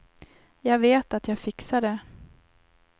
Jag vet att jag fixar det.